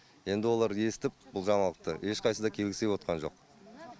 енді олар естіп бұл жаңалықты ешқайсысы да келгісі кепотқан жоқ